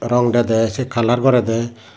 rong dede sey colour gorede.